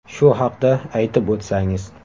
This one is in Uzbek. Shu haqda aytib o ‘tsangiz.